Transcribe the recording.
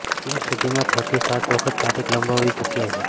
અત્યાર સુધીમાં છથી સાત વખત તારીખ લંબાવવી ચૂક્યા છે